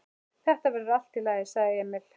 Þetta verður allt í lagi, sagði Emil.